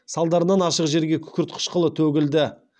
салдарынан ашық жерге күкірт қышқылы төгілді